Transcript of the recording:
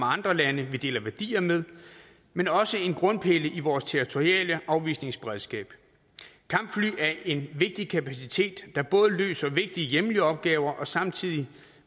andre lande vi deler værdier med men også være en grundpille i vores territoriale afvisningsberedskab kampfly er en vigtig kapacitet der både løser vigtige hjemlige opgaver samtidig